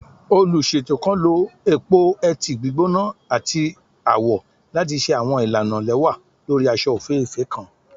Oluṣeto kan lo epo-eti gbigbona ati awọn awọ awọ lati ṣe awọn ilana lẹwa lori aṣọ ofeefee kan